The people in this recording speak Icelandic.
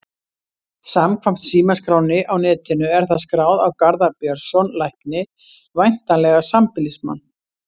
Samkvæmt símaskránni á netinu er það skráð á Garðar Björnsson lækni, væntanlega sambýlismann